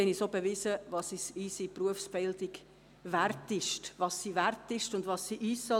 Sie haben auch bewiesen, welchen Wert unsere Berufsbildung hat und was sie uns auch wert sein soll.